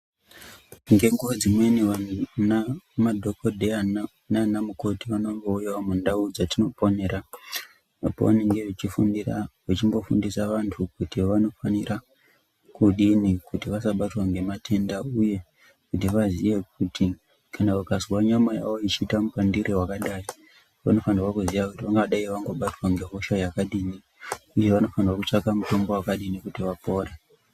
Ngenguwa dzimweni anadhokodheya naana mukoti vanombouyawo mundau dzatinoponera apo vanenge vachimbofundisa vanhu kuti vanofanire kudini kuti vasabatwe ngematenda. Kuti vaziye kuti vakazwa nyama yavo yeiite mupandire wakadayi vanofanire kuziya kuti vanga dai vabatwa ngehosha yakadini uye kuti vanofanire kutsvaka mutombo wakadini kuti vapore.